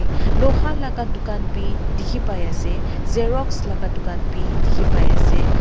luha laga bukan bi dikhi pai ase xerox la dukan bi dikhi pai ase.